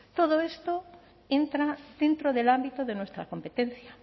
todo esto entra dentro del ámbito de nuestra competencia